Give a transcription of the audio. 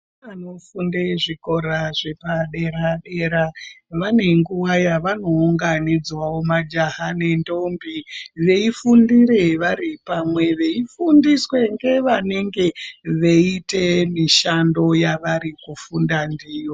Vana vanofunda zvikora zvepadera dera vane nguwa yavanounganidzwawo majaha nendombi veifundira vari pamwe veifundiswa vanenge veita mishando yavari kufunda ndiyo.